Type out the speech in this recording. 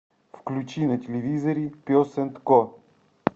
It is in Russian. включи на телевизоре пес энд ко